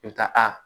I bɛ taa aa